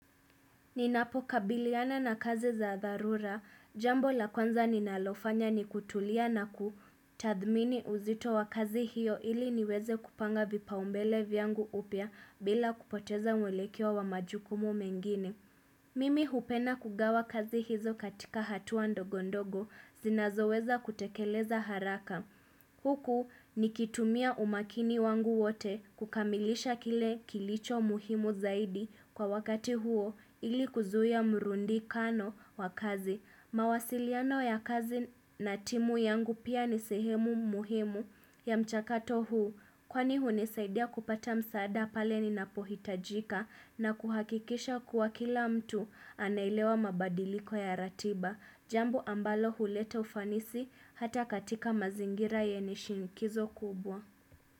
Ninapokabiliana na kazi za dharura, jambo la kwanza ninalofanya ni kutulia na kutathmini uzito wa kazi hiyo ili niweze kupanga vipaumbele vyangu upya bila kupoteza mwelekeo wa majukumu mengine. Mimi hupenda kugawa kazi hizo katika hatua ndogondogo zinazoweza kutekeleza haraka. Huku nikitumia umakini wangu wote kukamilisha kile kilicho muhimu zaidi kwa wakati huo ili kuzuia mrundikano wa kazi. Mawasiliano ya kazi na timu yangu pia nisehemu muhimu ya mchakato huu. Kwani hunisaidia kupata msaada pale ninapohitajika na kuhakikisha kuwa kila mtu anaelewa mabadiliko ya ratiba. Jambo ambalo huleta ufanisi hata katika mazingira yenye shinikizo kubwa.